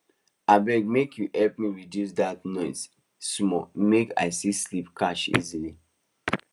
abeg make you help me reduce that noise small make i see sleep catch easily